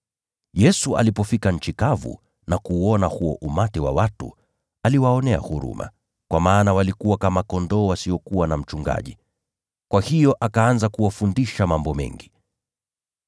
Yesu alipofika kando ya bahari, aliona makutano makubwa ya watu, akawahurumia kwa maana walikuwa kama kondoo wasiokuwa na mchungaji. Kwa hiyo akaanza kuwafundisha mambo mengi.